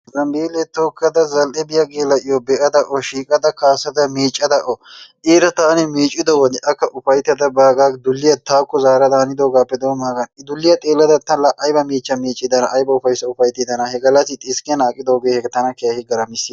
Zambbele tookada zal''e biyaa geella''iyo be'ada O shiiqada miiccada O iiraa taani miiccido wode akka ufayttada dulliyaa taakko zaarada haindoogappe doommagan I dulliyaa xeellada ta aybba miichcha miiccidana aybba ufayssa ufayttidana, he gallassi xiskkenan aqqidooge tana keehi garamissiis.